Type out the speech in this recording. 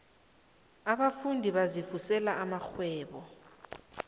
abafundi bazivusela amarhwebo